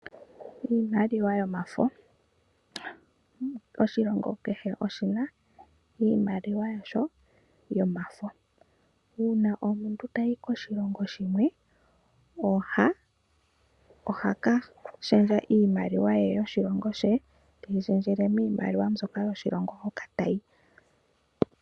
Iimaliwa yomafo, oshilonga kehe oshina iimaliwa yasho yomafo. Uuna omuntu ta yi koshilongo shimwe oha kashendja iimaliwa ye yoshilongo she teyi shendjele mimaliwa yoshilongo hoka ta yi.